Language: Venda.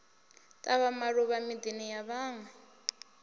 tavha maluvha midini ya vhanwe